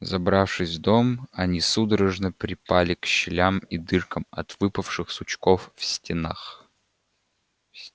забравшись в дом они судорожно припали к щелям и дыркам от выпавших сучков в стенах